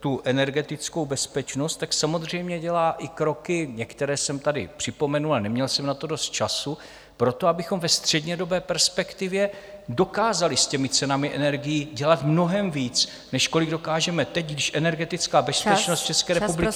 tu energetickou bezpečnost, tak samozřejmě dělá i kroky, některé jsem tady připomenul, a neměl jsem na to dost času, pro to, abychom ve střednědobé perspektivě dokázali s těmi cenami energií dělat mnohem víc, než kolik dokážeme teď, když energetická bezpečnost České republiky...